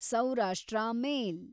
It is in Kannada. ಸೌರಾಷ್ಟ್ರ ಮೇಲ್